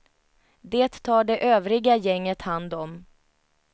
Det tar det övriga gänget hand om.